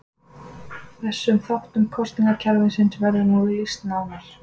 Þessum þáttum kosningakerfisins verður nú lýst nánar.